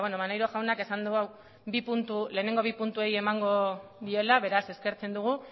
maneiro jaunak esan du lehenengo bi puntuei emango diela beraz eskertzen dugu